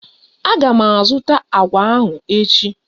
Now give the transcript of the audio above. Aga m azụta agwa ahụ echi.